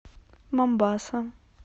момбаса